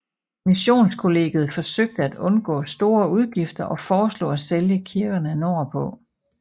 Missionskollegiet forsøgte at undgå store udgifter og foreslog at sælge kirkerne nordpå